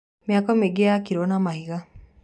Mĩako mĩingĩ yakirwo na mahiga.